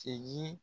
Segin